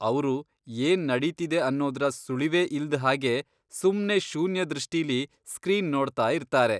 ಅವ್ರು ಏನ್ ನಡೀತಿದೆ ಅನ್ನೋದ್ರ ಸುಳಿವೇ ಇಲ್ದ್ ಹಾಗೆ ಸುಮ್ನೇ ಶೂನ್ಯ ದೃಷ್ಟಿಲಿ ಸ್ಕ್ರೀನ್ ನೋಡ್ತಾಯಿರ್ತಾರೆ.